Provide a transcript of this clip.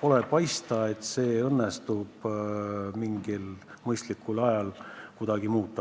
pole paista, et õnnestub seda mingil mõistlikul ajal kuidagi muuta.